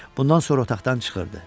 Bundan sonra otaqdan çıxırdı.